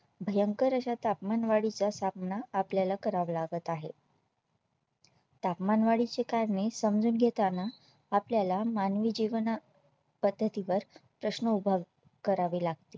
भयंकर अशा तापमानवाढीचा सामना आपल्याला करावा लागत आहे तापमानवाढीचे कारणे समजून घेताना आपल्याला मानवी जीवना पद्धती वर प्रश्न उभा करावे लागतील.